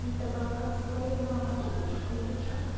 это был косплей на монеточку или что